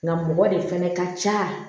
Nka mɔgɔ de fɛnɛ ka ca